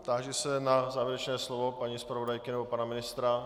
Táži se na závěrečné slovo paní zpravodajky nebo pana ministra.